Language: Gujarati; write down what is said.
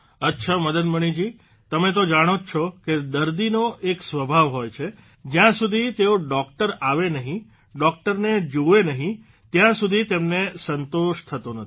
અચ્છા મદન મણિજી તમે તો જાણો જ છો કે દર્દીનો એક સ્વભાવ હોય છે કે જયાં સુધી તેઓ ડોકટર આવે નહીં ડોકટરને જુવે નહીં ત્યાં સુધી તેમને સંતોષ થતો નથી